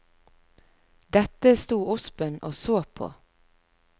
Dette sto ospen og så på.